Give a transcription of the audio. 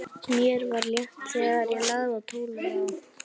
Mér var létt þegar ég lagði tólið á.